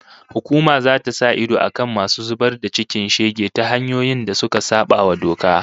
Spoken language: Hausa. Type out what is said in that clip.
Hukuma zata sa idon akan masu zubar da cikin shege ta hanyoyin da suka sabawa doka